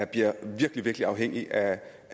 bliver virkelig virkelig afhængig af